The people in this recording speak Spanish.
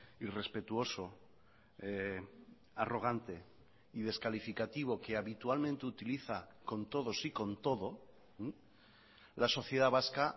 irrespetuoso arrogante y descalificativo que habitualmente utiliza con todos y con todo la sociedad vasca